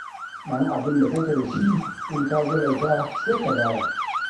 Ɗan abin da kake da shi in ka jalauta, sai ka dara.